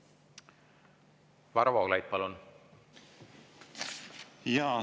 Varro Vooglaid, palun!